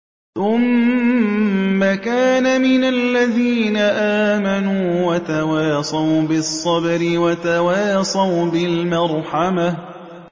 ثُمَّ كَانَ مِنَ الَّذِينَ آمَنُوا وَتَوَاصَوْا بِالصَّبْرِ وَتَوَاصَوْا بِالْمَرْحَمَةِ